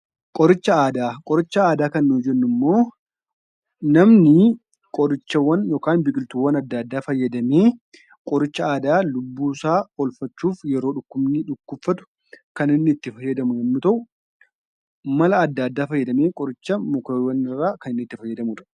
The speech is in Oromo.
Qoricha aadaa. Qoricha aadaa kan nun jennu immoo namni qorichawwan yookaan biqiltoowaan adda addaa fayyadamanii qoricha aadaa yeroo lubbuu isaa oolfachuuf yeroo dhukubsatu kan inni itti faayadamu yoo ta'u, mala adda addaa fayyadamee kan inni mukeewwan irraa itti fayyadamudha.